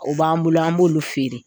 O b'an bolo an b'olu feere.